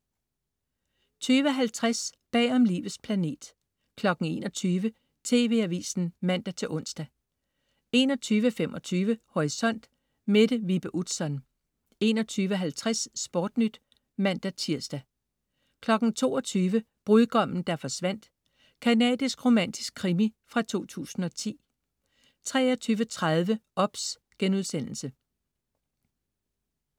20.50 Bag om Livets planet 21.00 TV Avisen (man-ons) 21.25 Horisont. Mette Vibe Utzon 21.50 SportNyt (man-tirs) 22.00 Brudgommen der forsvandt. Canadisk romantisk krimi fra 2010 23.30 OBS*